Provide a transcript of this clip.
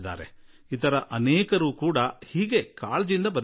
ಇನ್ನೂ ಅನೇಕರು ಇದೇ ರೀತಿ ತಿಳಿಸಿದ್ದಾರೆ